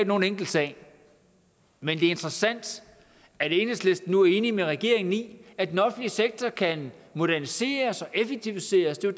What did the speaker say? nogen enkel sag men det er interessant at enhedslisten nu er enige med regeringen i at den offentlige sektor kan moderniseres og effektiviseres det er